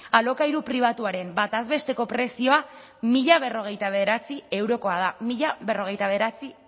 alokairu pribatuaren bataz besteko prezioa mila berrogeita bederatzi eurokoa da mila berrogeita bederatzi